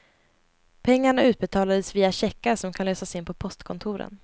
Pengarna utbetalas via checkar som kan lösas in på postkontoren.